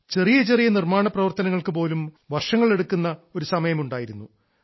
ചെറിയ ചെറിയ നിർമ്മാണപ്രവർത്തനങ്ങൾക്കു പോലും വർഷങ്ങൾ എടുക്കുന്ന ഒരു സമയമുണ്ടായിരുന്നു